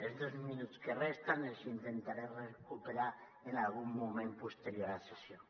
els dos minuts que em resten els intentaré recuperar en algun moment posterior de la sessió